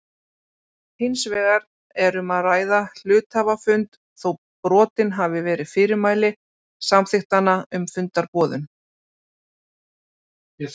Hins vegar er um að ræða hluthafafund þó brotin hafi verið fyrirmæli samþykktanna um fundarboðun.